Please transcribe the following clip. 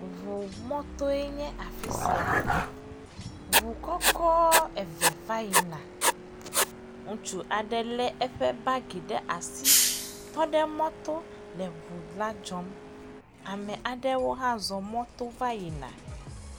Ŋumɔtoe nye afi sia, ŋu kɔkɔ eve va yina, ŋutsu aɖe lé eƒe bagi ɖe asi tɔ ɖe mɔto le ŋu la dzɔm, ame aɖewo hã zɔ mɔto va yina.